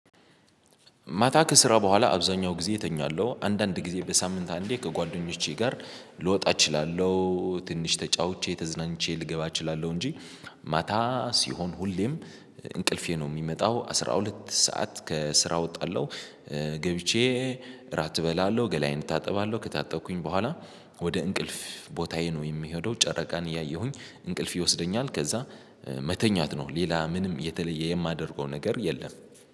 ማታ ከስራ ቦኋላ አብዛኛው ጊዜ እተኛለው አንዳንድ ጊዜ በሳምንት አንዴ ከጓደኞቼ ጋር ልወጣ እችላለሁ ትንሽ ተጫውቼ ተዝናንቼ ልገባ እችላለሁ እንጂ ማታ ሲሆን ሁሌም እንቅልፌ ነው ሚመጣው አስራ ሁለት ሰዓት ከስራ ወጣለሁ ገብቼ እራት እበላለሁ ገላዬን እታጠባለሁ ከታጠብኩኝ ቦኋላ ወደ እንቅልፍ ቦታዬ ነው የምሄደው። ጨረቃን እያየሁኝ እንቅልፍ ይወስደኛል ከዛ መተኛት ነው ሌላ ምንም የተለየ የማደርገው ነገር የለም።